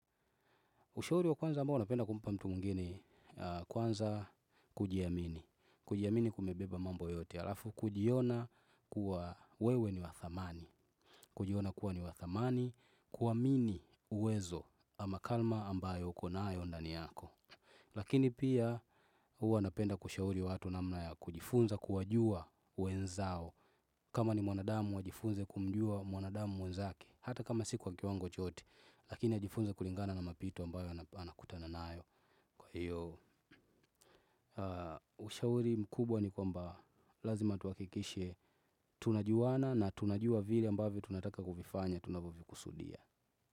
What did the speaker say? Ushauri wa kwanza ambao napenda kumpa mtu mwingine kwanza kujiamini. Kujiamini kumebeba mambo yote. Alafu kujiona kuwa wewe ni wa thamani. Kujiona kuwa ni wa thamani kuamini uwezo ama kalma ambayo uko nayo ndani yako. Lakini pia huwa napenda kushauri wa hatu namna ya kujifunza kuwajua wenzao. Kama ni mwanadamu ajifunze kumjua mwanadamu mwenzake. Hata kama si kwa kiwango chote, lakini ajifunze kulingana na mapito ambayo anakutana nayo. Kwa hiyo, ushauri mkubwa ni kwamba lazima tuhakikishe tunajuana na tunajua vile ambavyo tunataka kuvifanya, tunavovikusudia.